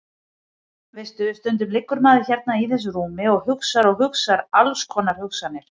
Veistu. stundum liggur maður hérna í þessu rúmi og hugsar og hugsar alls konar hugsanir.